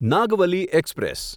Nagavali express